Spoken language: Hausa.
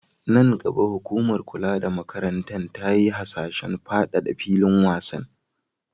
Nan gaba, hukumar kula da makaranta ta yi hasashen fadada filin wasan.